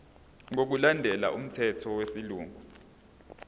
ngokulandela umthetho wesilungu